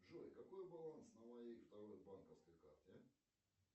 джой какой баланс на моей второй банковской карте